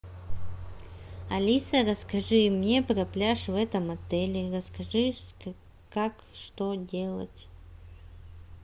алиса расскажи мне про пляж в этом отеле расскажи как что делать